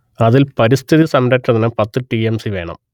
അതിൽ പരിസ്ഥിതിസംരക്ഷണത്തിന് പത്ത് ടി എം സി വേണം